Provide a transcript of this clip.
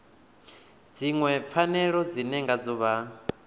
dziṅwe pfanelo dzine ngadzo vha